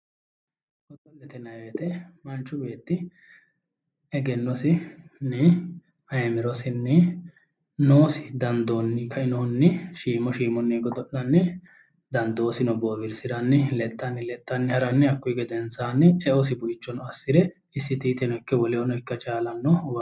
Godo'lete yinayi woyiite manchi beetti egennosinni ayeemirosinni noosidandoosinni kainohunni shiimu shiimunni godo'lanni dandoosino boowirsiranni lexxanni lexxanni haranni hakkuyi gedensaanni e"osi buichono assire isitiiteno ikke wolehono ikka chaalanno